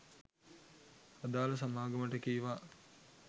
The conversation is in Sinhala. අදාළ සමාගමට කීවා